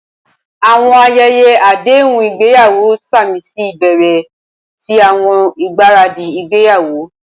Awọn ayẹyẹ adehun igbeyawo samisi ibẹrẹ ti awọn igbaradi igbeyawo.